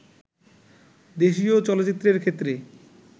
দেশীয় চলচ্চিত্রের ক্ষেত্রে